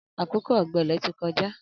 Akókó ọgbẹlẹ ti kọjá